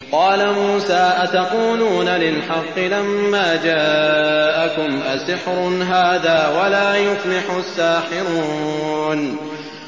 قَالَ مُوسَىٰ أَتَقُولُونَ لِلْحَقِّ لَمَّا جَاءَكُمْ ۖ أَسِحْرٌ هَٰذَا وَلَا يُفْلِحُ السَّاحِرُونَ